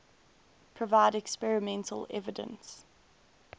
provide experimental evidence